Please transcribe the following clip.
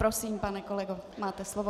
Prosím, pane kolego, máte slovo.